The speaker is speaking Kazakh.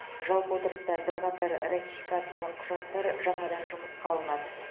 жалпы отырыста бірқатар ратификациялық құжаттар жаңадан жұмысқа алынады